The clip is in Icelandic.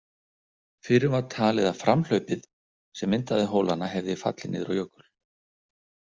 Fyrrum var talið að framhlaupið sem myndaði hólana hefði fallið niður á jökul.